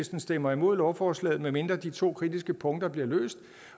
stemmer imod lovforslaget medmindre de to kritiske punkter bliver løst